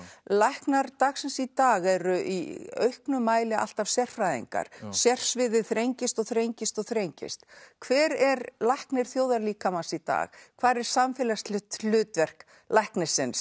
læknar dagsins í dag eru í auknum mæli alltaf sérfræðingar sérsviðið þrengist og þrengist og þrengist hver er læknir þjóðarlíkamans í dag hvar er samfélagslegt hlutverk læknisins